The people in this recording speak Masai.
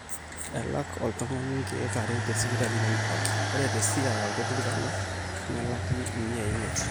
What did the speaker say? elak oltung'ani inkeek are tesipitali nemeiragi ore tesiaya o turkana nelaki miai imiet